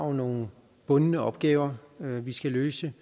har nogle bundne opgaver vi skal løse